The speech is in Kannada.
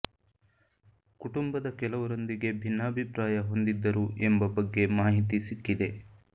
ಕುಟುಂಬದ ಕೆಲವರೊಂದಿಗೆ ಭಿನ್ನಾಭಿಪ್ರಾಯ ಹೊಂದಿದ್ದರು ಎಂಬ ಬಗ್ಗೆ ಮಾಹಿತಿ ಸಿಕ್ಕಿದೆ